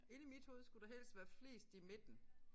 Inde i mit hoved skulle der helst være flest i midten